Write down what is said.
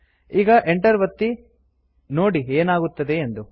ಈಗ enter ಒತ್ತಿ ನೋಡಿ ಏನಾಗುತ್ತದೆಯೆಂದು